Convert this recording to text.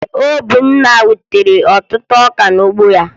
Obinna ewutere ọtụtụ ọka n'ugbo ya?